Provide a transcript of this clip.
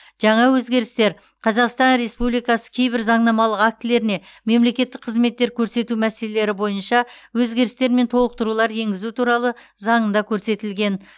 жаңа өзгерістер қазақстан республикасы кейбір заңнамалық актілеріне мемлекеттік қызметтер көрсету мәселелері бойынша өзгерістер мен толықтырулар енгізу туралы заңында көрсетілген